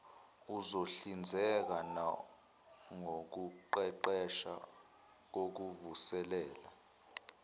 uzohlinzeka nangokuqeqesha kokuvuselela